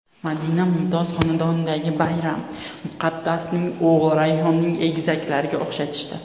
Madina Mumtoz xonadonidagi bayram, Muqaddasning o‘g‘lini Rayhonning egizaklariga o‘xshatishdi.